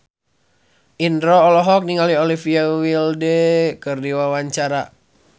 Indro olohok ningali Olivia Wilde keur diwawancara